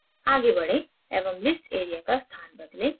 आगे बढ़ें एवं list area का स्थान बदलें